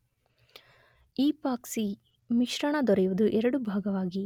Epoxy ಮಿಶ್ರಣ ದೊರೆಯುವುದು ಎರಡು ಭಾಗವಾಗಿ.